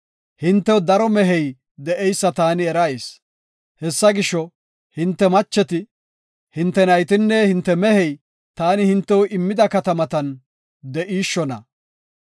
Hintew daro mehey de7eysa taani erayis; hessa gisho, hinte macheti, hinte naytinne hinte mehey taani hintew immida katamatan de7ishshona.